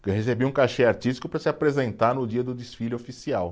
Porque recebia um cachê artístico para se apresentar no dia do desfile oficial.